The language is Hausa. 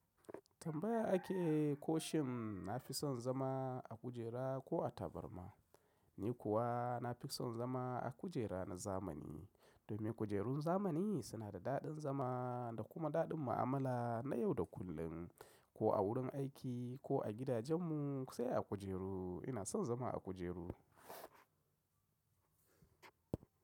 Tambaya ake ko shin nafi son zama a kujera ko a tabarma. Ni kuwa nafi son zama a kujera na zamani. Domin kujerun zamani suna da daɗin zama da kuma daɗin mu'amala na yau da kullun, ko a wurin aiki ko a gidajenmu sai a kujeru ina son zama a kujeru.